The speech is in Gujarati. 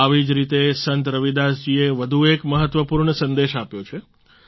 આવી જ રીતે સંત રવિદાસ જીએ વધુ એક મહત્વપૂર્ણ સંદેશ આપ્યો છે